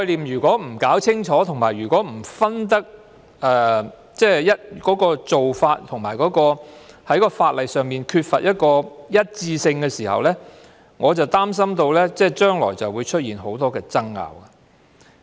如果不弄清楚這些概念、不分清楚做法，而法律上又缺乏一致性時，我擔心將來會出現很多爭拗。